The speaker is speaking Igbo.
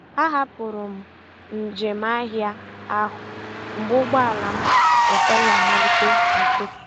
A hapụrụ m njem ahịa ahụ mgbe ụgbọala m ekweghị amalite n'ụtụtụ.